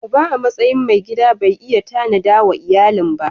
Uba a matsayin mai gida bai yi tanada wa iyalin ba.